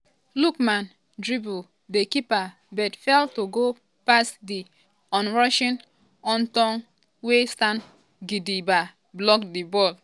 lookman dribble di keeper but fail to go past di onrushing houtoundji wey stand gidigba block di ball.